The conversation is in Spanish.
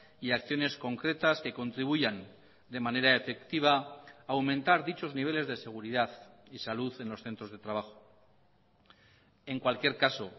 y acciones concretas que contribuyan de manera efectiva a aumentar dichos niveles de seguridad y salud en los centros de trabajo en cualquier caso